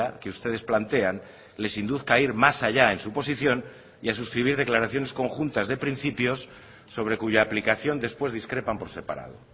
que ustedes plantean les induzca a ir más allá en su posición y a suscribir declaraciones conjuntas de principios sobre cuya aplicación después discrepan por separado